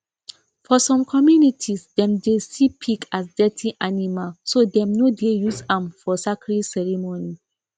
for some communities dem dey see pig as dirty animal so dem no dey use am for sacred ceremony